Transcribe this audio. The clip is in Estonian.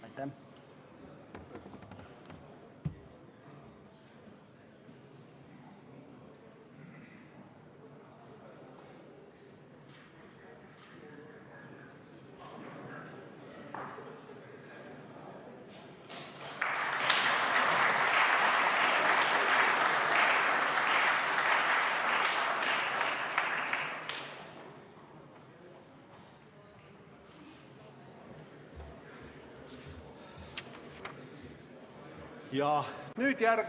Aitäh!